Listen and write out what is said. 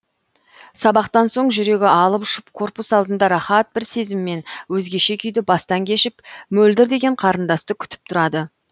сабақтан соң жүрегі алып ұшып корпус алдында рахат бір сезіммен өзгеше күйді бастан кешіп мөлдір деген қарындасты күтіп тұрады